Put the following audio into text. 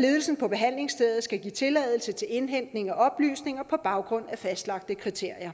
ledelsen på behandlingsstedet skal give tilladelse til indhentning af oplysninger på baggrund af fastlagte kriterier